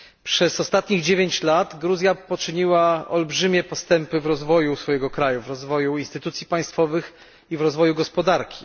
Przez ostatnich 9 lat Gruzja poczyniła olbrzymie postępy w rozwoju kraju, w rozwoju instytucji państwowych i w rozwoju gospodarki.